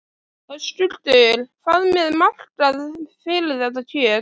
Höskuldur: Hvað með markað fyrir þetta kjöt?